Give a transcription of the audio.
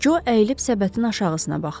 Co əyilib səbətin aşağısına baxdı.